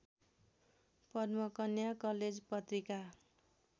Padmakanya college Patrika